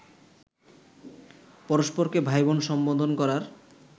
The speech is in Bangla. পরস্পরকে ভাই-বোন সম্বোধন করার